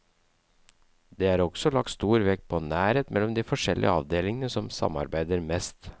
Det er også lagt stor vekt på nærhet mellom de forskjellige avdelingene som samarbeider mest.